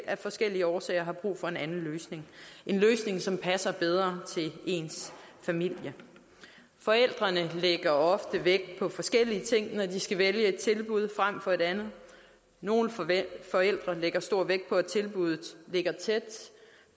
af forskellige årsager har brug for en anden løsning en løsning som passer bedre til ens familie forældrene lægger ofte vægt på forskellige ting når de skal vælge et tilbud frem for et andet nogle forældre lægger stor vægt på at tilbuddet ligger tæt